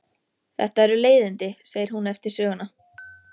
Þetta eru leiðindi, segir hún eftir söguna.